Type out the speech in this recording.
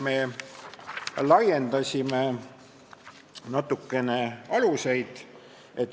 Me laiendasime natukene aluseid.